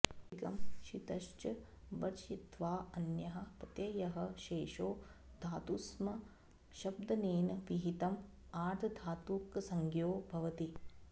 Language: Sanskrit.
तिङः शितश्च वर्जयित्वा अन्यः प्रत्ययः शेषो धातुसंशब्दनेन विहितः आर्धधातुकसंज्ञो भवति